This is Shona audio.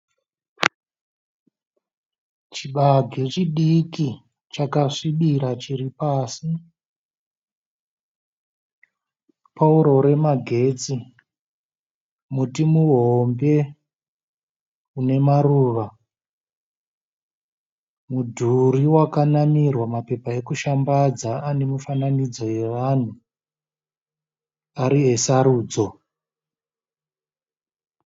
Chibage chidiki chakasvibira chiri pasi. Pouro remagetsi, muti muhombe unemaruva. Mudhuri wakanamirwa mapepa ekushambadza ane mifananidzo yevanhu ari esarudzo.